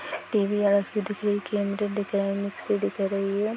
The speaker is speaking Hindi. टी.वी वाला एच.डी दिख रही है कैंडल दिख रही है मिक्सी दिख रही है।